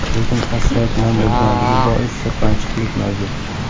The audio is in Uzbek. Lekin asfalt nam bo‘lganligi bois sirpanchiqlik mavjud.